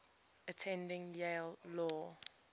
attended yale law